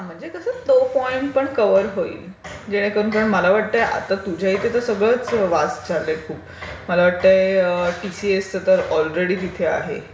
म्हणजे कसं की तो पॉइंट पण कवर होईल. जेणेकरून कारण मला वाटतेय आता तुझ्याइथे तर सगळंच व्हास्ट झालंय खूप. मला वाटते टीसीएस तर ऑलरेडी तिथे आहे.